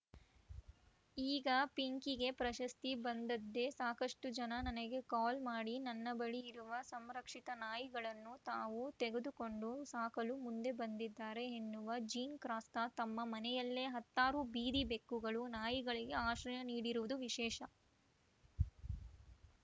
ಈಗ ಪಿಂಕಿಗೆ ಪ್ರಶಸ್ತಿ ಬಂದದ್ದೇ ಸಾಕಷ್ಟುಜನ ನನಗೆ ಕಾಲ್‌ ಮಾಡಿ ನನ್ನ ಬಳಿ ಇರುವ ಸಂರಕ್ಷಿತ ನಾಯಿಗಳನ್ನು ತಾವು ತೆಗೆದುಕೊಂಡು ಸಾಕಲು ಮುಂದೆ ಬಂದಿದ್ದಾರೆ ಎನ್ನುವ ಜೀನ್‌ ಕ್ರಾಸ್ತಾ ತಮ್ಮ ಮನೆಯಲ್ಲೇ ಹತ್ತಾರು ಬೀದಿ ಬೆಕ್ಕುಗಳು ನಾಯಿಗಳಿಗೆ ಆಶ್ರಯ ನೀಡಿರುವುದು ವಿಶೇಷ